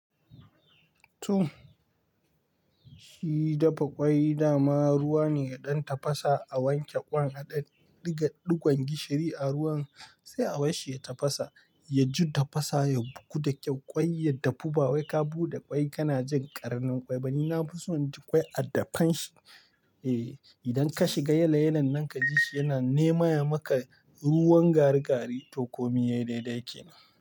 To, shi dafa ƙwai dama ruwa ne ya ɗan tafasa a wanke ƙwan a ɗan ɗiga ɗigon gishiri a ruwan sai a basshi ya tafasa, ya ju tafasa ya gudu da ƙwai ya dafu ba wai ka buɗe ƙwai kana jin ƙarnin ƙwai ba ni na fi son ƙwai a dafan shi. Eh, idan ka shiga yale yalen nan ka ji shi yana nemaya maka ruwan gari gari to komi yayi daidai kenan.